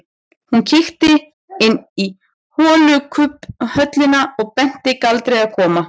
Hún kíkti inn í holukubbhöllina og benti Galdri að koma.